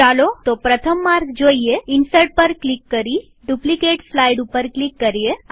ચાલો તો પ્રથમ માર્ગ જોઈએઇન્સર્ટ પર ક્લિક કરી ડુપ્લીકેટ સ્લાઈડ ઉપર ક્લિક કરીએ